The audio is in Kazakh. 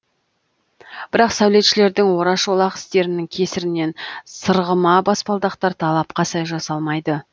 бірақ сәулетшілердің ораш олақ істерінің кесірінен сырғыма баспалдақтар талапқа сай жасалмайды